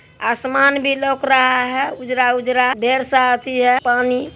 आसमान भी लौक रहा है उजरा-उजरा ढेर सा अथि है पानी ।